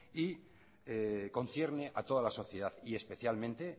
y concierne a toda la sociedad y especialmente